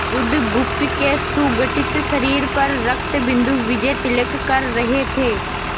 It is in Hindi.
बुधगुप्त के सुगठित शरीर पर रक्तबिंदु विजयतिलक कर रहे थे